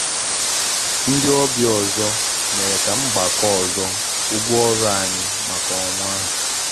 Ndị ọbịa ọzọ mere ka m gbakọọ ọzọ ụgwọ ọrụ anyị maka ọnwa ahụ.